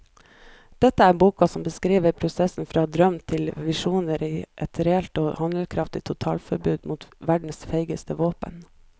Dette er boka som beskriver prosessen fra drøm til visjoner til et reelt og handlekraftig totalforbud mot verdens feigeste våpen.